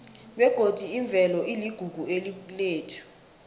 begodi imvelo iligugu lethu